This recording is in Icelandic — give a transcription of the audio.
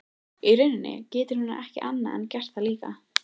Í rauninni getur hún ekki annað en gert það líka.